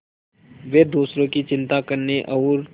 वे दूसरों की चिंता करने और